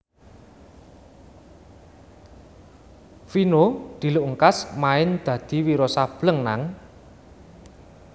Vino diluk ngkas main dadi Wiro Sableng nang